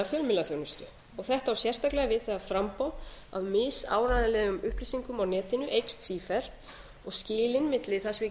fjölmiðlaþjónustu þetta á sérstaklega við um það framboð af misáreiðanlegum upplýsingum á netinu eykst sífellt og skilin milli þess að við